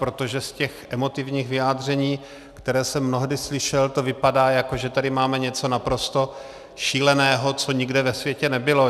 Protože z těch emotivních vyjádření, která jsem mnohdy slyšel, to vypadá, jako že tady máme něco naprosto šíleného, co nikde ve světě nebylo.